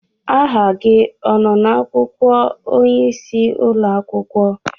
Aha gị ọ nọ na-akwụkwọ onyeisi ụlọakwụkwọ?